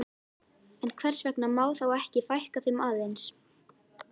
En hvers vegna má þá ekki fækka þeim aðeins?